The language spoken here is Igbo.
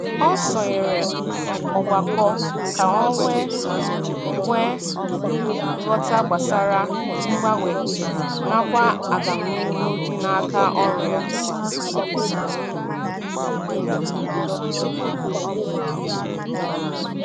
O sonyere ọgbakọ ka ọ wee nwee ghọta gbasara mgbanwe nakwa agamnihu dị n'aka ọrụ ya.